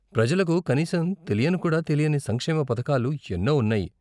ప్రజలకు కనీసం తెలియనుకూడా తెలియని సంక్షేమ పథకాలు ఎన్నో ఉన్నాయి.